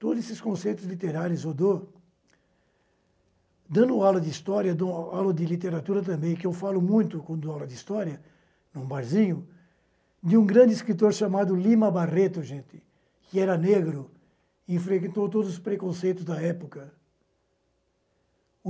Todos esses conceitos literários, eu dou dando aula de história, eu dou aula de literatura também, que eu falo muito quando dou aula de história, em um barzinho, de um grande escritor chamado Lima Barreto, gente, que era negro e enfrentou todos os preconceitos da época.